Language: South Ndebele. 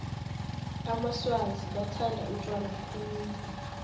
amaswazi bathanda utjwala khulu